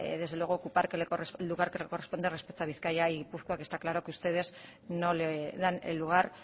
desde luego ocupar el lugar que le corresponde respecto a bizkaia y gipuzkoa que está claro que ustedes no le dan el lugar